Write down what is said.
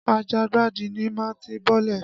Àjàngbàdì ni màá ti bọ́lẹ̀.